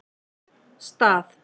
Stað